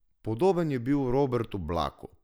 Podoben je bil Robertu Blaku.